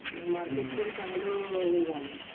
Market पण चांगल हे झालयं.